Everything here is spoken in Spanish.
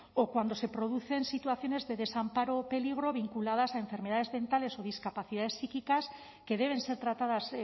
o cuando se producen situaciones de desamparo o peligro vinculadas a enfermedades mentales o discapacidad psíquicas que deben ser tratadas